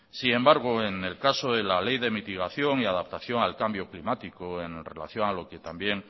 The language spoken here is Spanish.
sin embargo en la ley de mitigación y adaptación al cambio climático en relación a lo que también